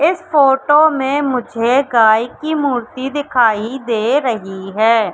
इस फोटो में मुझे गाय की मूर्ति दिखाई दे रही है।